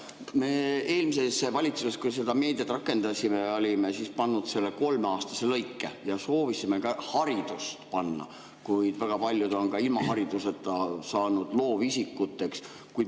Kui me eelmises valitsuses meediat rakendasime, siis olime pannud selle kolmeaastase lõike ja soovisime ka haridust panna, kuid väga paljud on ka ilma hariduseta saanud loovisikuteks.